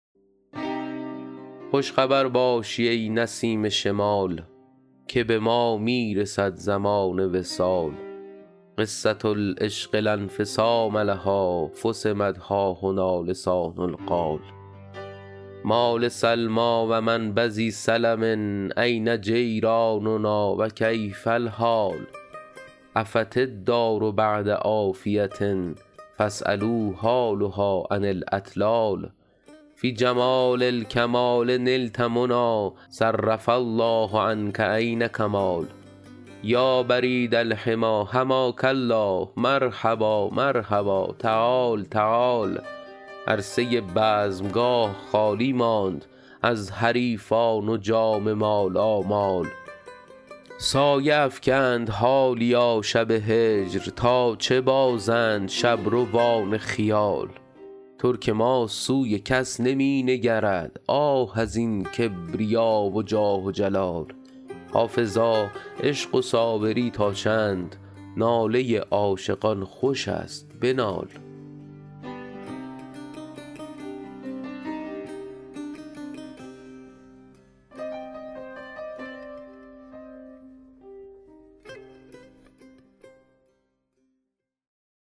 خوش خبر باشی ای نسیم شمال که به ما می رسد زمان وصال قصة العشق لا انفصام لها فصمت ها هنا لسان القال ما لسلمی و من بذی سلم أین جیراننا و کیف الحال عفت الدار بعد عافیة فاسألوا حالها عن الاطلال فی جمال الکمال نلت منی صرف الله عنک عین کمال یا برید الحمی حماک الله مرحبا مرحبا تعال تعال عرصه بزمگاه خالی ماند از حریفان و جام مالامال سایه افکند حالیا شب هجر تا چه بازند شبروان خیال ترک ما سوی کس نمی نگرد آه از این کبریا و جاه و جلال حافظا عشق و صابری تا چند ناله عاشقان خوش است بنال